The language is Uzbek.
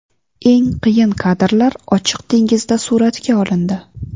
Eng qiyin kadrlar ochiq dengizda suratga olindi.